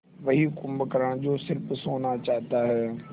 वही कुंभकर्ण जो स़िर्फ सोना चाहता है